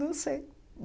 Não sei.